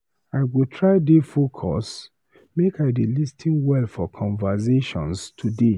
I go try dey focus, make I dey lis ten well for conversations today.